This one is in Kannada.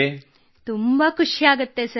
ಕೃತ್ತಿಕಾ ಸರ್ ತುಂಬಾ ಖುಷಿಯಾಗುತ್ತದೆ